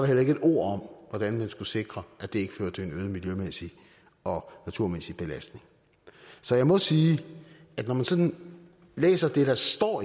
heller ikke et ord om hvordan man skal sikre at det ikke fører til en øget miljømæssig og naturmæssig belastning så jeg må sige at når man sådan læser det der står